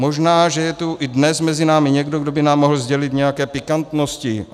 Možná, že je tu i dnes mezi námi někdo, kdo by nám mohl sdělit nějaké pikantnosti.